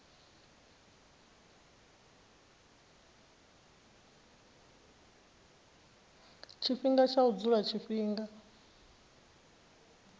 tshifhinga tsha u dzula tshifhinga